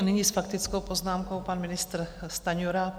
A nyní s faktickou poznámkou pan ministr Stanjura.